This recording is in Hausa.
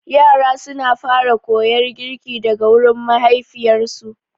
Yara suna fara koyar girki daga gurin mahaifiyarsu.